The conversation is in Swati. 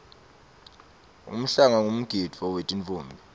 umhlanga ngumgidvo wetinffombi